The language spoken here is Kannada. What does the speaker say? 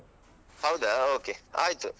ಹೌದಾ okay ಆಯ್ತು.